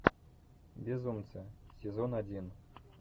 безумцы сезон один